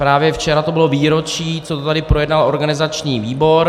Právě včera to bylo výročí, co to tady projednal organizační výbor.